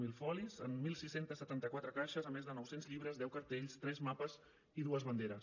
zero folis en setze setanta quatre caixes a més de nou cents llibres deu cartells tres mapes i dues banderes